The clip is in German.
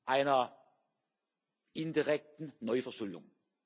einer indirekten Neuverschuldung.